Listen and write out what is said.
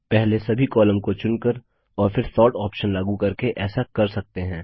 पहले सभी कॉलम को चुनकर और फिर सोर्ट ऑप्शन लागू करके ऐसा कर सकते हैं